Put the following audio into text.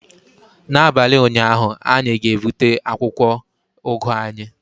N'abalị ụnyaahụ, anyị ga-gbute akwụkwọ ugu anyị